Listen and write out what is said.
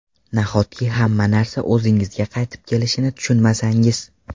Nahotki hamma narsa o‘zingizga qaytib kelishini tushunmasangiz?